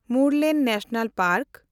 Murlen national park